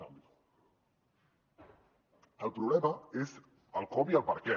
el problema és el com i el perquè